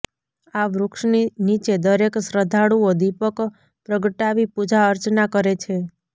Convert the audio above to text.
આ વૃક્ષની નીચે દરેક શ્રદ્ધાળુઓ દીપક પ્રગટાવી પૂજા અર્ચના કરે છે